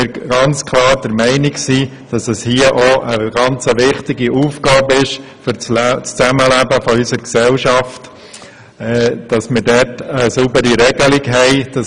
Wir sind klar der Meinung, dass es eine wichtige Aufgabe für das Zusammenleben in unserer Gesellschaft ist, hier eine saubere Regelung hinzubekommen.